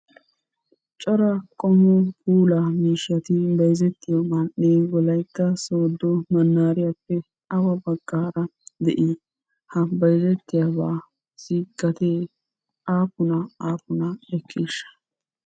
Cora qommo puulaa miishshati bayzettiyo man'ee wolayitta sooddo mannaariyaappe awa baggaara de"i? Ha bayzettiyaabaassi gattee aappuna aappunaa ekkiishsha?